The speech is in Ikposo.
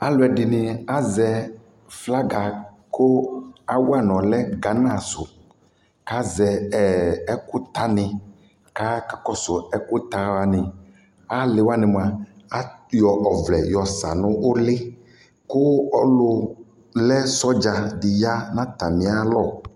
Alʋ ɛdɩnɩ azɛ flaga kʋ awa nʋ ɔlɛ Gana sʋ kʋ azɛ ɛ ɛkʋtanɩ kʋ akakɔsʋ ɛkʋta wanɩ Alɩ wanɩ mʋa, ayɔ ɔvlɛ yɔsa nʋ ʋlɩ kʋ ɔlʋ lɛ sɔdza dɩ ya nʋ atamɩalɔ